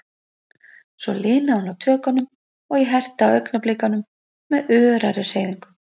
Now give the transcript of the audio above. Svo linaði hún á tökunum, og ég herti á augnablikunum með örari hreyfingum.